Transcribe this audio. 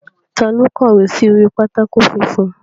Ta ló kọ̀wé sí orí pátákó funfun?